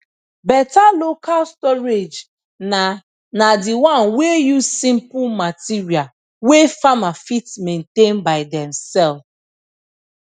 better local storage na na the one wey use simple material wey farmer fit maintain by demself